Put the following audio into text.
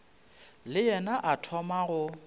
le yena a thoma go